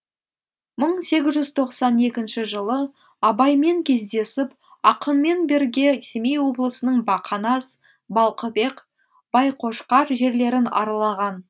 мың сегіз жүз тоқсан екінші жылы абаймен кездесіп ақынмен бірге семей облысының бақанас балқыбек байқошқар жерлерін аралаған